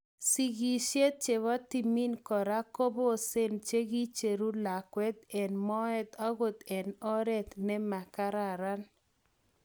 Sigisiet chepo timin kora koposen che kicheru lakwet en moet okot en oret ne magaran.